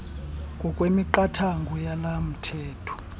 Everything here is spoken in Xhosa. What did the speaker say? ngokwemiqathango yalo mthetho